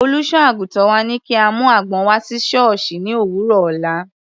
Olùṣọ́-àgùntàn wa ní kí a mú àgbọn wá sí sọ́ọ̀sì ní òwúrọ̀ ọ̀la.